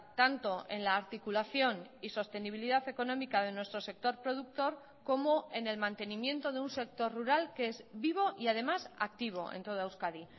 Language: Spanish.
tanto en la articulación y sostenibilidad económica de nuestro sector productor como en el mantenimiento de un sector rural que es vivo y además activo en toda euskadi